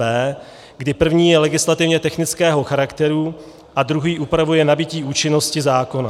B, kdy první je legislativně technického charakteru a druhý upravuje nabytí účinnosti zákona.